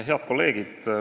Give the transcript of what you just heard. Head kolleegid!